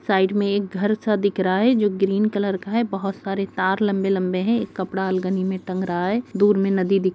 Side में एक घर सा दिख रहा है जो ग्रीन कलर है । बहोत सारे तार लंबे लंबे से है । एक कपड़ा अलगनी में टंग रहा है दूर में नदी दिख रहा है ।